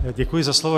Děkuji za slovo.